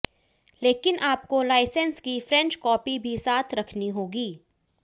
लेकिन आपको लाइसेंस की फ्रेंच कॉपी भी साथ रखनी होगी